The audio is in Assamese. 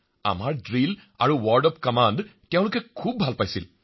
আমাৰ ড্ৰিল আৰু ৱৰ্ড অব্ কমাণ্ড তেওঁলোকে অতি ভাল পালে মহাশয়